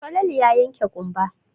Falalu ya yanke ƙumba.